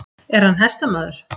Er hann hestamaður?